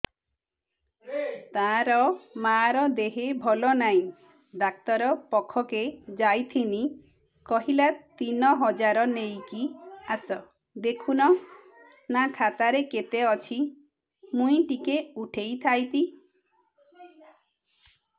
ତାର ମାର ଦେହେ ଭଲ ନାଇଁ ଡାକ୍ତର ପଖକେ ଯାଈଥିନି କହିଲା ତିନ ହଜାର ନେଇକି ଆସ ଦେଖୁନ ନା ଖାତାରେ କେତେ ଅଛି ମୁଇଁ ଟିକେ ଉଠେଇ ଥାଇତି